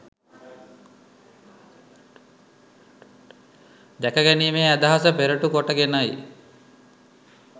දැකගැනීමේ අදහස පෙරටු කොට ගෙනයි